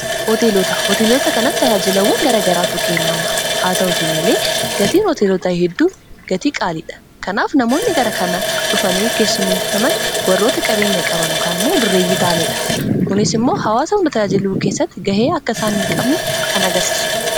hooteelota kanatti tayaajilawwan gara garaatu jirahaa ta'uti malee gatiin hooteelotaa hedduu gatii qaaliidha kanaaf namoonni gara kana dhufanii keessumessaman warroota qabeenya qaba nokaan moo dureeyyii taaniidha kunis immoo hawaasa hunda tayaajiluu keessatti gahee akka isaan hin qabne kan agarsiisudha.